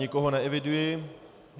Nikoho neeviduji.